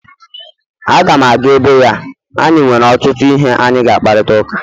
Aga m aga ebe ya anyị nwere ọtụtụ ihe anyị ga-akparịta ụka